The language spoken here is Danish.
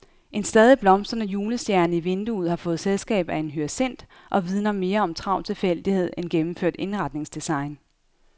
En stadig blomstrende julestjerne i vinduet har fået selskab af en hyacint og vidner mere om travl tilfældighed end gennemført indretningsdesign.